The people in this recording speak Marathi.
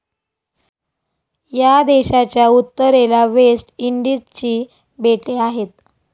या देशाच्या उत्तरेला वेस्ट इंडिजची बेटे आहेत.